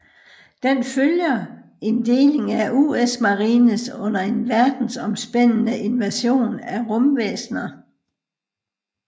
Den følger en deling af US Marines under en verdensomspændende invasion af rumvæsner